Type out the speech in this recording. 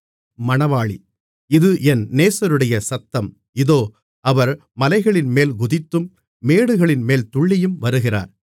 இது என் நேசருடைய சத்தம் இதோ அவர் மலைகளின்மேல் குதித்தும் மேடுகளின்மேல் துள்ளியும் வருகிறார்